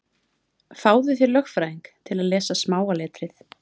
Fáðu þér lögfræðing til að lesa smáa letrið.